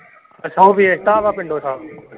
ਅੱਛਾ ਉਹ ਵੇਚ ਦਿੱਤਾ ਵਾ ਪਿੰਡੋ ਸਭ।